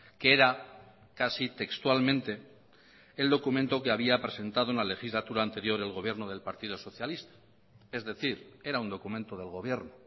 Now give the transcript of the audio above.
que era casi textualmente el documento que había presentado en la legislatura anterior el gobierno del partido socialista es decir era un documento del gobierno